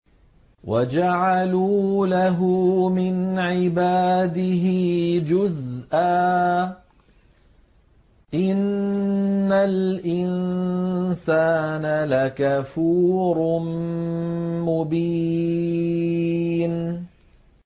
وَجَعَلُوا لَهُ مِنْ عِبَادِهِ جُزْءًا ۚ إِنَّ الْإِنسَانَ لَكَفُورٌ مُّبِينٌ